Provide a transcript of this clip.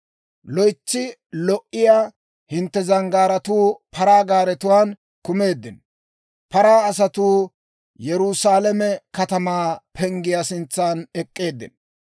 Loytsi lo"iyaa hintte zanggaaratuu paraa gaaretuwaan kumeeddino; paraa asatuu Yerusaalame katamaa penggiyaa sintsan ek'k'eeddino.